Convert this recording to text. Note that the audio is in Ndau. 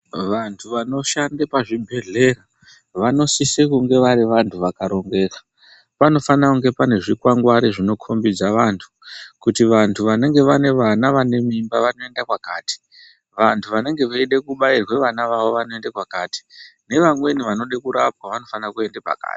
Vantu vanoshanda pazvibhedhleya vanositsa kunge vari vantu vakarongeka .Panofana kunge pane zvikwangwari zvinokombedza vantu kuti vantu vanenge vane vana vane mimba vanoenda kwakati ,vantu vanenge vaida kubairirwa vana vavo vanoende kwakati nevamweni vanode kurapwa vanofana kuenda pakati .